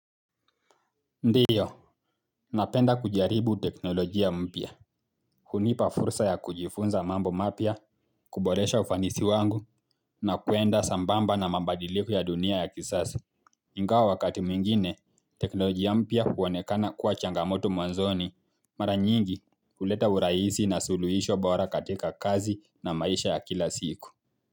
Ndio, napenda kujaribu teknolojia mpya, hunipa fursa ya kujifunza mambo mapya, kuboresha ufanisi wangu, na kuenda sambamba na mabadiliko ya dunia ya kisazo. Ingawa wakati mingine, teknolojia mpya huonekana kuwa changamoto mwanzoni, mara nyingi kuleta urahisi na suluisho bora katika kazi na maisha ya kila siku.